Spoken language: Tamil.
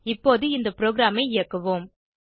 இப்போது இந்த ப்ரோகிராமை இயக்குவோம்